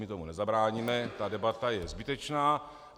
My tomu nezabráníme, ta debata je zbytečná.